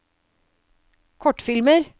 kortfilmer